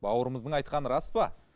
бауырымыздың айтқаны рас па